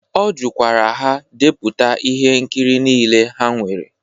Ọ jụkwara ha depụta ihe nkiri niile ha nwere.